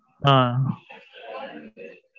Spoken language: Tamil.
ஆ ஆ.